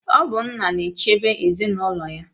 Ọ bụ nna na-echebe ezinụlọ ya.